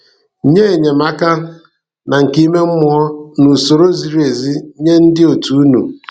Nye enyemaka na nke ime mmụọ na usoro ziri ezi nye ndị òtù unu.